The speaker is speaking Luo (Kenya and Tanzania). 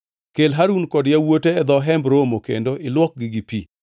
Kel Harun kod yawuote e dho Hemb Romo kendo ilwokgi gi pi.